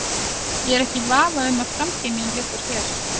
Ég er ekki í vafa um að framtíð mín liggur hér.